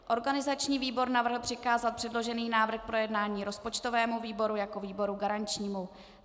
Organizační výbor navrhl přikázat předložený návrh k projednání rozpočtovému výboru jako výboru garančnímu.